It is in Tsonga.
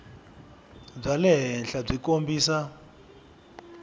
bya le henhla byi kombisa